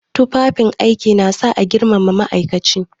Tufafin aiki na sa a girmama ma'aikaci.